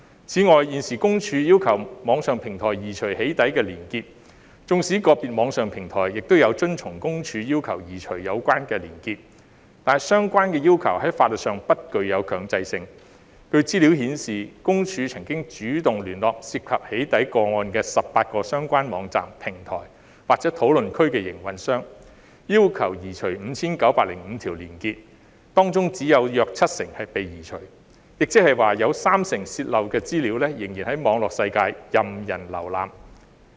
此外，現時私隱公署要求網上平台移除"起底"連結，縱使個別網上平台有遵從私隱公署要求移除有關的連結，但相關要求在法律上不具強制性。據資料顯示，私隱公署曾主動聯絡涉及"起底"個案的18個相關網站、平台或討論區的營運商，要求移除 5,905 條連結，當中只有約七成被移除，亦即有三成泄漏的資料仍然在網絡世界任人瀏覽。